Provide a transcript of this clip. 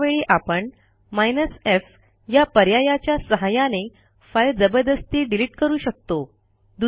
अशा वेळी आपण f या पर्यायाच्या सहाय्याने फाईल जबरदस्ती डिलिट करू शकतो